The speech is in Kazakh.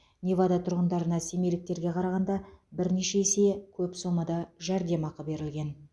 невада тұрғындарына семейліктерге қарағанда бірнеше есе көп сомада жәрдемақы берілген